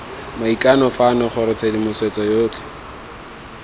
maikano fano gore tshedimosetso yotlhe